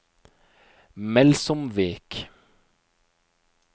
Melsomvik